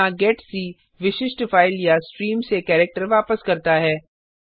यहाँ जीईटीसी विशिष्ट फाइल या स्ट्रीम से कैरेक्टर वापस करता है